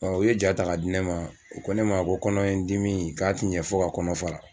u ye ja ta ka di ne ma u ko ne ma ko kɔnɔ dimi in k'a tɛ ɲa fɔ ka kɔnɔ fara.